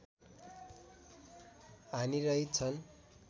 हानिरहित छन्